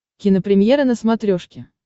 кинопремьера на смотрешке